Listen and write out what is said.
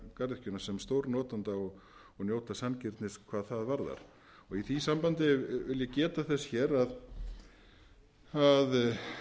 garðyrkjuna sem stórnotanda og njóta sanngirnis hvað það varðar í því sambandi vil ég geta þess hér að